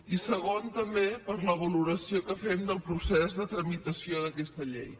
i segon també per la valoració que fem del procés de tramitació d’aquesta llei